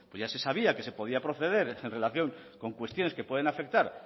ya se sabía que se podía proceder en relación con cuestiones que pueden afectar